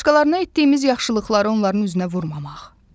Başqalarına etdiyimiz yaxşılıqları onların üzünə vurmamaq.